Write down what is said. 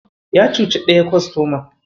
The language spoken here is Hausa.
Ya cuci ɗaya kostoman.